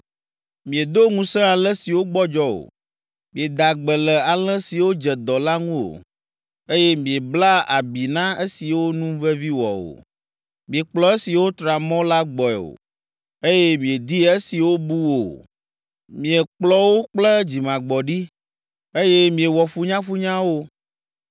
Miedo ŋusẽ alẽ siwo gbɔdzɔ o, mieda gbe le alẽ siwo dze dɔ la ŋu o, eye miebla abi na esiwo nu vevi wɔ o. Miekplɔ esiwo tra mɔ la gbɔe o, eye miedi esiwo bu o. Miekplɔ wo kple dzimagbɔɖi, eye miewɔ funyafunya wo.